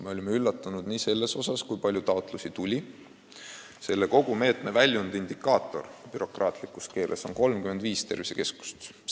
Me olime üllatunud, kui palju taotlusi tuli: kui bürokraatiakeeles öelda, siis kogu meetme väljundindikaator on 35 tervisekeskust.